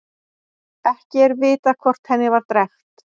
Ekki er vitað hvort henni var drekkt.